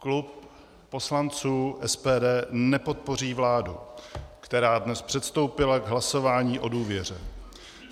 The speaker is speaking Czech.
Klub poslanců SPD nepodpoří vládu, která dnes předstoupila k hlasování o důvěře.